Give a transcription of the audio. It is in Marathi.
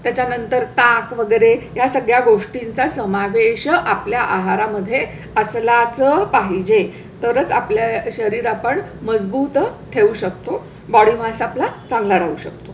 असते त्याच्या नंतर ताक वगैरे या सगळ्या गोष्टींचा समावेश आपल्या आहारा मध्ये असायलाच पाहिजे तरच आपल्या शरीरा पण मजबूत ठेवू शकतो. body mass आपला चांगला राहू शकतो.